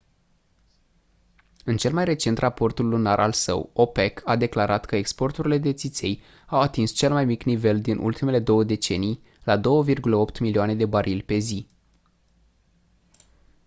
în cel mai recent raport lunar al său opec a declarat că exporturile de țiței au atins cel mai mic nivel din ultimele două decenii la 2,8 milioane de barili pe zi